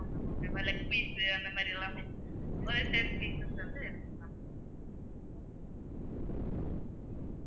okay வா leg piece அந்த மாதிரி எல்லாமே ஒரு ten pieces வந்து இருக்கும் ma'am